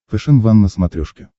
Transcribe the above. фэшен ван на смотрешке